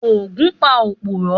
Ògún pa òpùrọ́.